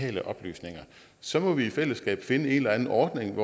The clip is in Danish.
vitale oplysninger så må vi i fællesskab finde en eller anden ordning